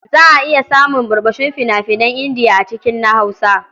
Za a iya samun ɓurɓushin fina-finan Indiya a cikin na Hausa.